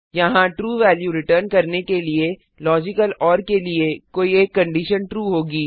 यहाँ true value return करने के लिए लॉजिकल ओर के लिए कोई एक कंडीशन ट्रू होगी